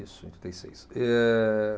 Isso. Em oitenta e seis. Eh